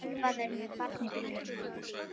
Ölvaður með barn í bílnum